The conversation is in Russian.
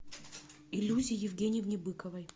илюзе евгеньевне быковой